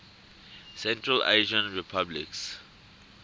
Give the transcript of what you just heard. central asian republics